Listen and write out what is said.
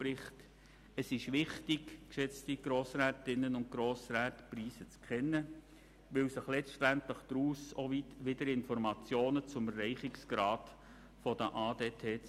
Aber es ist wichtig, die Preise zu kennen, weil sich daraus letztlich auch weitere Informationen zum Erreichungsgrad der ADT-Ziele ergeben.